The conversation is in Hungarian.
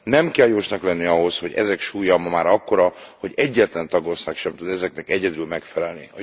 Nem kell jósnak lenni ahhoz, hogy ezek súlya ma már akkora, hogy egyetlen tagország sem tud ezeknek egyedül megfelelni.